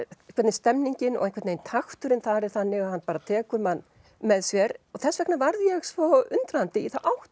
stemningin og takturinn þar er þannig að hann tekur mann með sér og þess vegna varð ég svo undrandi hvaða átt